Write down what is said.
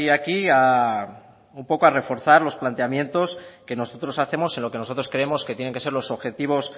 aquí un poco a reforzar los planteamientos que nosotros hacemos en lo que nosotros creemos que tienen que ser los objetivos